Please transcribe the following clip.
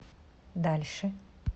дальше